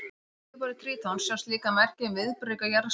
Á yfirborði Trítons sjást líka merki um viðburðaríka jarðsögu.